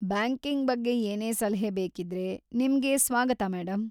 Banking ಬಗ್ಗೆ ಏನೇ ಸಲಹೆ ಬೇಕಿದ್ರೆ ನಿಮ್ಗೆ ಸ್ವಾಗತ ಮೇಡಂ.